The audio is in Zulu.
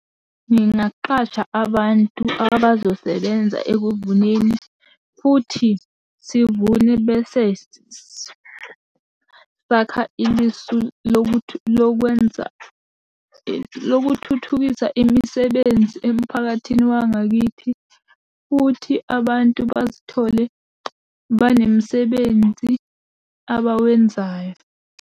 Ngingaqasha abantu abazosebenza ekuvuneni, futhi sivune bese sakha ilisu lokwenza lokuthuthukisa imisebenzi emphakathini wangakithi, futhi abantu bazithole banemsebenzi abawenzayo.